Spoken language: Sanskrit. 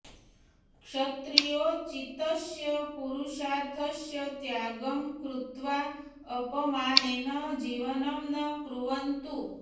क्षत्रियोचितस्य पुरुषार्थस्य त्यागं कृत्वा अपमानेन जीवनं न कुर्वन्तु